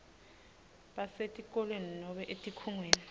basetikolweni nobe etikhungweni